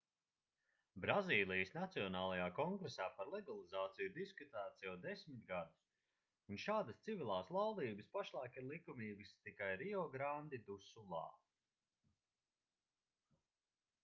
brazīlijas nacionālajā kongresā par legalizāciju ir diskutēts jau 10 gadus un šādas civilās laulības pašlaik ir likumīgas tikai riograndi du sulā